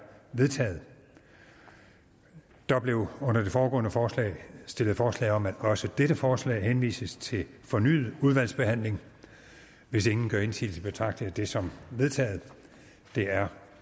vedtaget der blev under det foregående forslag stillet forslag om at også dette forslag henvises til fornyet udvalgsbehandling hvis ingen gør indsigelse betragter jeg det som vedtaget det er